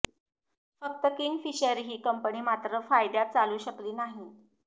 फक्त किंगफिशर ही कंपनी मात्र फायद्यात चालू शकली नाही